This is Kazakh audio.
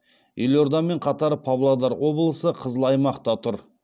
елордамен қатар павлодар облысы қызыл аймақта тұр